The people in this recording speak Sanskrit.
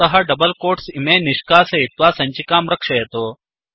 अतः डबल् कोट्स् इमे निष्कासयित्वा सञ्चिकां रक्षयतु